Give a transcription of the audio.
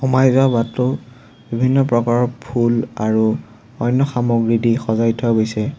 সোমাই যোৱা বাটটো বিভিন্ন প্ৰকাৰৰ ফুল আৰু অন্য সামগ্ৰীদি সজাই থোৱা গৈছে।